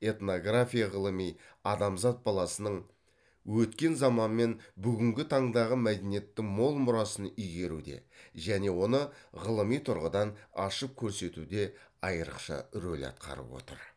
этнография ғылыми адамзат баласының өткен заман мен бүгінгі таңдағы мәдениеттің мол мұрасын игеруде және оны ғылыми тұрғыдан ашып көрсетуде айрықша роль атқарып отыр